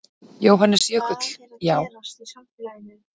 Jóhannes Jökull: Já.